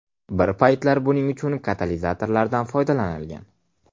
Bir paytlar buning uchun katalizatorlardan foydalanilgan.